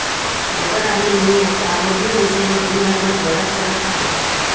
Butter आणि लोणी यांच्या आरोग्यविषयक गुणधर्मात बराच फरक आहे.